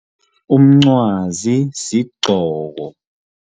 Umncwazi sigcoko